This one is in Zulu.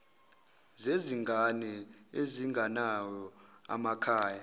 zezingane ezingenawo amakhaya